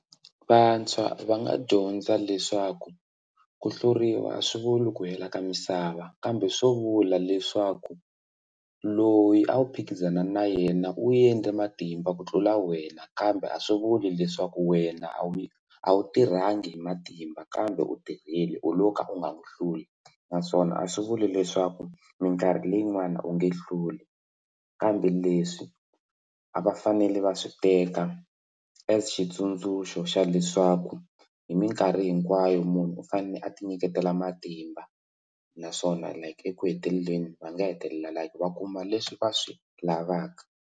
Vantshwa va nga dyondza leswaku ku hluriwa a swi vuli ku hela ka misava kambe swo vula leswaku loyi a wu phikizana na yena u endle matimba ku tlula wena kambe a swi vuli leswaku wena a wu yi a wu tirhangi hi matimba kambe u tirhile u lo ka u nga n'wi hluli naswona a swi vuli leswaku mikarhi leyi n'wani u nge hluli kambe leswi a va fanele va swi teka as xitsundzuxo xa leswaku hi mikarhi hinkwayo munhu u fanele a ti nyiketela matimba naswona like eku heteleleni va nga hetelela like va kuma leswi va swi lavaka.